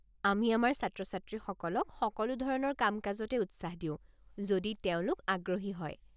আমি আমাৰ ছাত্ৰ-ছাত্ৰীসকলক সকলো ধৰণৰ কাম-কাজতে উৎসাহ দিও যদি তেওঁলোক আগ্ৰহী হয়।